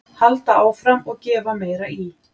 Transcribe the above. Halda áfram og gefa meira í.